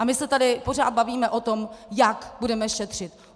A my se tady pořád bavíme o tom, jak budeme šetřit.